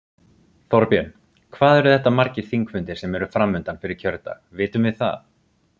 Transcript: Þorbjörn: Hvað eru þetta margir þingfundir sem eru framundan fyrir kjördag, vitum við það?